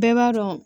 Bɛɛ b'a dɔn